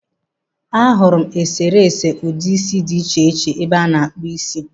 Ahụrụ eserese ụdị isi dị iche iche ebe a na-akpụ isi.